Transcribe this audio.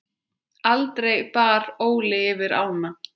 Aldrei bar Óli yfir ána.